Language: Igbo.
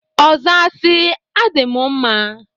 Ọ zaa si, "Adị m mma!"